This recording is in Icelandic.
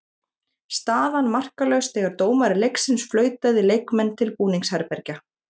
Staðan markalaus þegar dómari leiksins flautaði leikmenn til búningsherbergja.